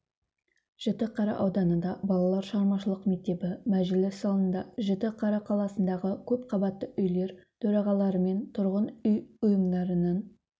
жітіқара ауданында балалар шығармашылық мектебі мәжіліс залында жітіқара қаласындағы көп қабатты үйлер төрағаларымен тұрғын үй ұйымдарының